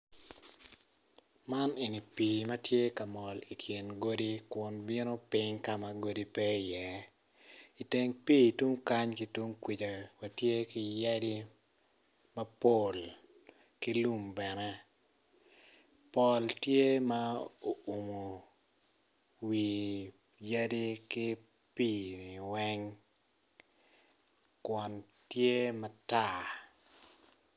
Man eni pii matye ka mol ikin godi kun bino piny kama godi pe i iye iteng pii tung kany ki tung kwica watye ki yadi mapol ki lum bene pol tye ma oumo wi yadi ki pii-ni weng kun tye matar